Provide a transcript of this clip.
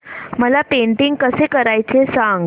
मला पेंटिंग कसं करायचं सांग